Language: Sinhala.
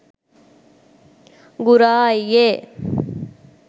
ගුරා අයියේ